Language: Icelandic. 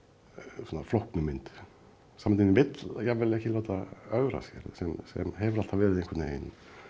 flóknu mynd samtíminn vill jafnvel ekki láta ögra sér sem hefur alltaf verið einhvern veginn